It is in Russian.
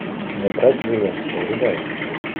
не брать живым врубай